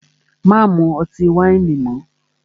Má mú ọtí wáìnì mọ́!